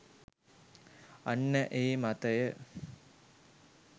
අන්න ඒ මතය